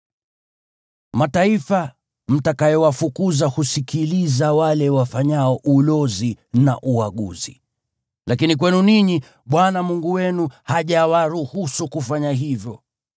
Mataifa mtakayowafukuza husikiliza wale wafanyao ulozi na uaguzi. Lakini kwenu ninyi, Bwana Mungu wenu hajawaruhusu kufanya hivyo.